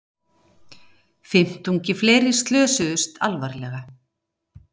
Fimmtungi fleiri slösuðust alvarlega